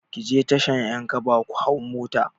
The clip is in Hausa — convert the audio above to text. Ki je tashar 'yankaba ku hau mota.